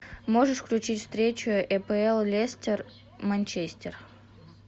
можешь включить встречу апл лестер манчестер